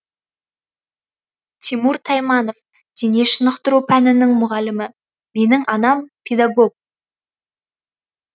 тимур тайманов дене шынықтыру пәнінің мұғалімі менің анам педагог